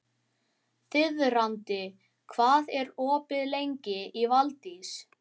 Þiðrandi, hvað er opið lengi í Valdís?